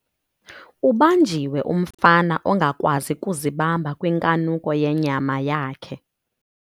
Ubanjiwe umfana ongakwazi kuzibamba kwinkanuko yenyama yakhe.